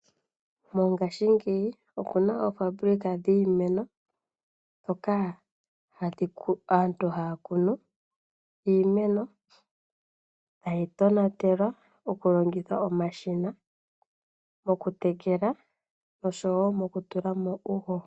Mongaashingeyi okuna oofambulika dhiimeno ndhoka aantu haya kunu iimeno, tayi tonatelwa moku longitha omashina gokutekela oshowo gwoku tula mo uuhoho.